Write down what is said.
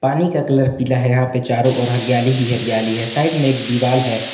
पानी का कलर पीला है यहां पे चारों ओर हरियाली की हरियाली है साइड में एक दीवाल है।